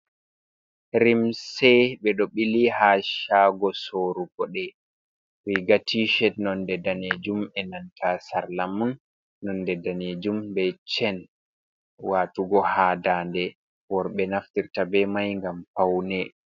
"Limse" ɓe ɗo ɓili ha shago sorugo ɗe riga tished nonɗe ɗanejum e nanta sarla mun nonɗe ɗanejum. Be chen watugo ha ɗanɗe worɓe naftirta be mai ngam faune.